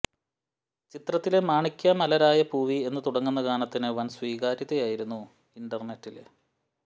ചിത്രത്തിലെ മാണിക്യ മലരായ പൂവി എന്ന് തുടങ്ങുന്ന ഗാനത്തിന് വന് സ്വീകാര്യതയായിരുന്നു ഇന്റര്നെറ്റില്